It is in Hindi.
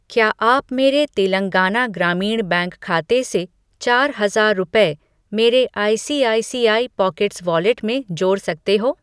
क्या आप मेरे तेलंगाना ग्रामीण बैंक खाते से चार हजार रुपये मेरे आईसीआईसीआई पॉकेट्स वॉलेट में जोड़ सकते हो?